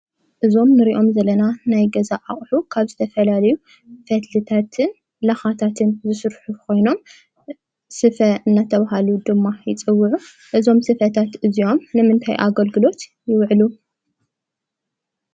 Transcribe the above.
እዞም ንሪኦም ዘለና ናይ ገዛ አቁሑ ካብ ዝተፈላለዩ ፈትልታትን ላካታትን ዝስርሑ ኮይኖም ስፈ እናተባሃሉ ድማ ይፅውዑ። እዞም ስፈታት እዚኦም ንምንታይ ዓይነት አገልግሎት ይውዕሉ?